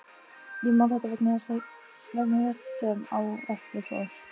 Ég man þetta vegna þess sem á eftir fór.